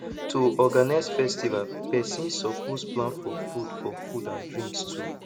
to organize festival persin suppose plan for food for food and drinks too